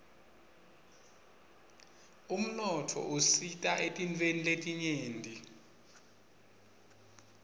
umnotfo usita etintfweni letinyenti